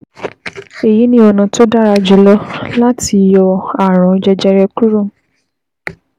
Èyí ni ọ̀nà tó dára jùlọ láti yọ ààrùn jẹjẹrẹ kúrò